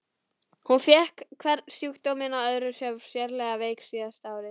Hún fékk hvern sjúkdóminn af öðrum og var sérlega veik síðasta árið.